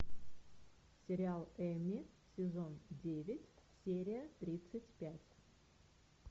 сериал эмми сезон девять серия тридцать пять